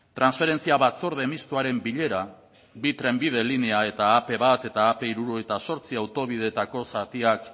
transferentzia batzorde mistoaren bilera bi trenbide linea eta ap bat eta ap hirurogeita zortzi autobideetako zatiak